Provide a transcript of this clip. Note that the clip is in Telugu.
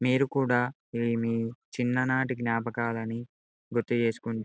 మీరు కూడా మీమీ చిన్ననాటి జ్ఙాపకాలుని గురుతు చేసుకుంటు --